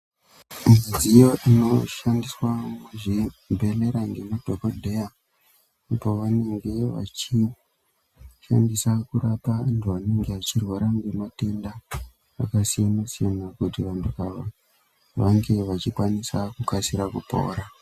Midziyo inoshandiswa muzvibhedhlera ngemadhokodheya pavanenge veishandisa kurapa antu anenge achirwara ngematenda akasiyana siyana kuti vantu ava vange vachikwanisa kukasira kupora.